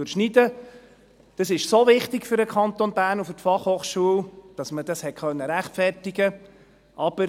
Das ist so wichtig für den Kanton Bern und die Fachhochschule, dass man es rechtfertigen konnte.